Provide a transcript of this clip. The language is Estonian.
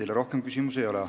Teile rohkem küsimusi ei ole.